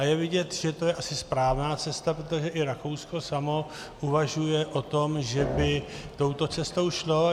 A je vidět, že to je asi správná cesta, protože i Rakousko samo uvažuje o tom, že by touto cestou šlo.